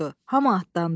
Hamı atdandı.